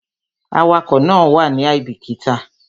Awakọ̀ náà wàá ní àìbíkítà